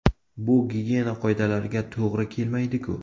Bu gigiyena qoidalariga to‘g‘ri kelmaydi-ku.